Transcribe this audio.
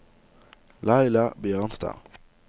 Laila Bjørnstad